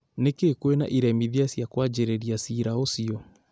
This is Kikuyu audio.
Nĩkĩ kwĩna iremithia cia kwanjĩrĩria ciira ũcio?